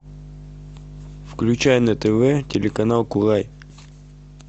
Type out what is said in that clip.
включай на тв телеканал курай